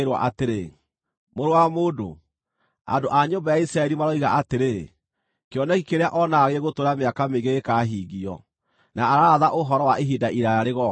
“Mũrũ wa mũndũ, andũ a nyũmba ya Isiraeli maroiga atĩrĩ, ‘Kĩoneki kĩrĩa onaga gĩgũtũũra mĩaka mĩingĩ gĩgĩkahingio, na araratha ũhoro wa ihinda iraaya rĩgooka.’